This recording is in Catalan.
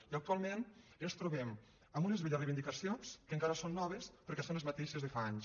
i actualment ens trobem amb unes velles reivindicacions que encara són noves perquè són les mateixes de fa anys